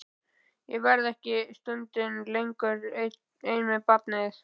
Ég verð hér ekki stundinni lengur ein með barnið.